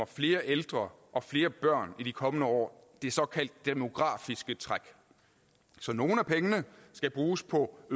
flere ældre og flere børn der i de kommende år det såkaldte demografiske træk så nogle af pengene skal bruges på